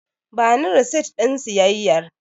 Bani resit ɗin siyayyar.